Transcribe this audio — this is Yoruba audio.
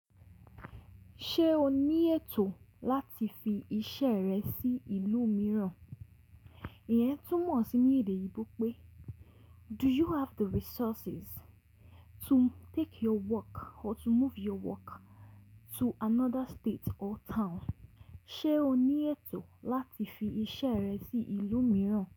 Ṣé o ní ètò láti fi iṣẹ́ rẹ sí ìlú mìíràn? Ìyẹn túmọ̀ sí ní èdè yìgbó pé do you have the resources to take your work or to move your work to another state or town? Ṣé o ní ètò láti fi iṣẹ́ rẹ sí ìlú mìíràn?